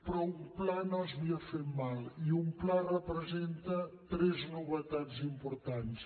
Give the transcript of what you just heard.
però un pla no s’havia fet mai i un pla representa tres novetats importants